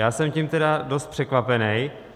Já jsem tím tedy dost překvapen.